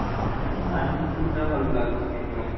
ନାଁ Maruti Suzuki ମତେ ଭଲଲାଗୁନି।